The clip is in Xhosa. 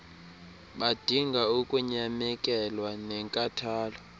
badinga ukunyamekelwa nenkathalelo